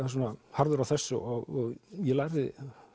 harður á þessu og ég lærði